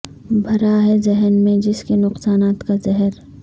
بھرا ہے ذہن میں جس کے نقصانات کا زہر